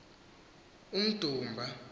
umdumba